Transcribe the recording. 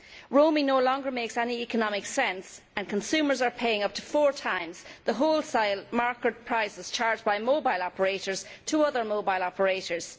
roaming no longer makes any economic sense and consumers are paying up to four times the wholesale market prices charged by mobile operators to other mobile operators.